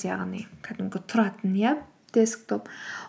яғни кәдімгі тұратын иә десктоп